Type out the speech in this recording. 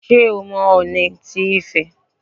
Ṣé o mọ Ọọ̀ni ti Ifẹ̀?